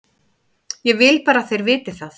Ég vil bara að þeir viti það.